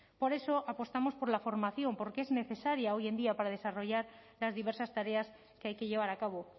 por eso apostamos por la formación porque es necesaria hoy en día para desarrollar las diversas tareas que hay que llevar a cabo